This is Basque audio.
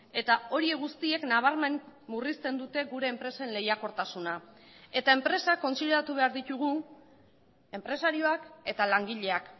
eta horiek guztiek nabarmen murrizten dute gure enpresen lehiakortasuna eta enpresak kontsideratu behar ditugu enpresarioak eta langileak